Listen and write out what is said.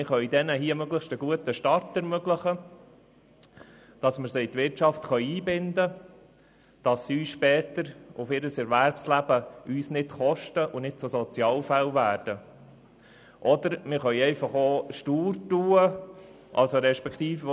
Wir können den UMA einen möglichst guten Start ermöglichen, damit wir sie in die Wirtschaft einbinden können und sie uns später in ihrem Erwerbsleben kein Geld kosten und nicht zu Sozialfällen werden, od wir können uns stur verhalten.